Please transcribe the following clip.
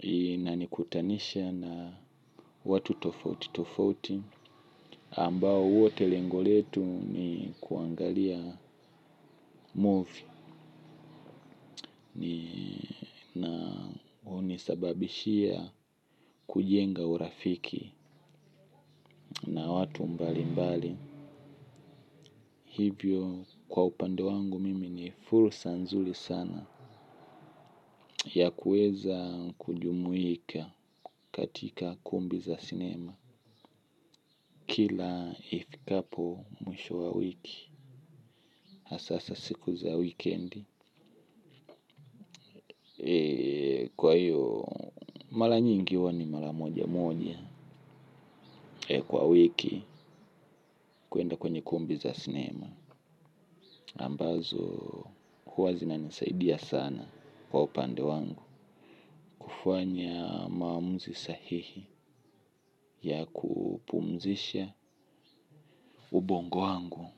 inanikutanisha na watu tofauti tofauti ambao wote lengo letu ni kuangalia movie. Ni na hunisababishia kujenga urafiki na watu mbalimbali. Hivyo kwa upande wangu mimi ni fursa nzuri sana ya kuweza kujumuika katika kumbi za sinema. Kila ifikapo mwisho wa wiki hasaa siku za wikendi. Kwa hiyo mara nyingi huwa ni mara moja moja kwa wiki kuenda kwenye kumbi za sinema ambazo huwa zinanisaidia sana kwa upande wangu. Hufanya maamuzi sahihi, ya kupumzisha ubongo wangu.